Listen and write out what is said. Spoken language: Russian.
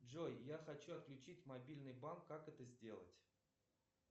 джой я хочу отключить мобильный банк как это сделать